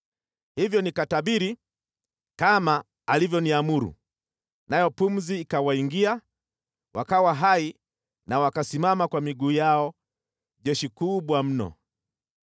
Hivyo nikatabiri kama alivyoniamuru, nayo pumzi ikawaingia, wakawa hai na wakasimama kwa miguu yao, jeshi kubwa mno.